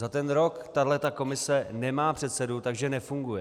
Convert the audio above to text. Za ten rok tahle komise nemá předsedu, takže nefunguje.